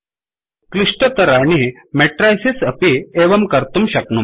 क्लिष्टतराणि matrices अपि एवं कर्तुं शक्नुमः